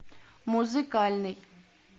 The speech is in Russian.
музыкальный